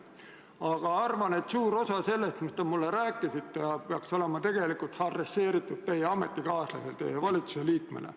Aga arvan, et suur osa sellest, mis te mulle rääkisite, peaks olema tegelikult adresseeritud teie ametikaaslasele, valitsuse liikmele.